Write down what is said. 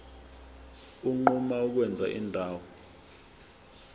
unquma ukwenza indawo